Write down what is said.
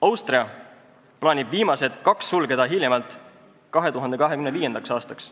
Austria plaanib viimased kaks sulgeda hiljemalt 2025. aastaks.